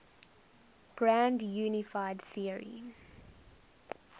grand unified theory